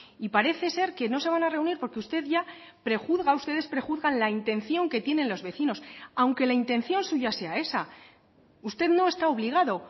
y parece ser que no se van a reunir porque usted ya prejuzga ustedes prejuzgan la intención que tienen los vecinos aunque la intención suya sea esa usted no está obligado